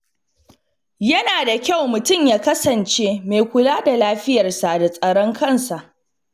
Yana da kyau mutum ya kasance mai kula da lafiyarsa da tsaron kansa.